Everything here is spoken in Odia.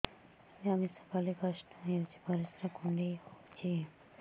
ମିଳା ମିଶା କଲେ କଷ୍ଟ ହେଉଚି ପରିସ୍ରା କୁଣ୍ଡେଇ ହଉଚି